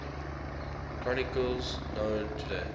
chronicles known today